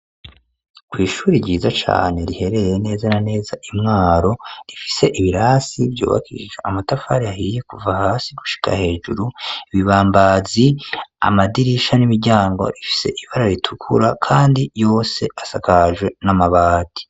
Kw’ishure ishuri ryiza cane, riherereye neza na neza i Mwaro, rifise ibirasi vyubakishije amatafari ahiye kuva hasi gushika hejuru; ibibambazi, amadirisha n'imiryango, bifise ibara ritukura kandi yose asakajwe n'amabati.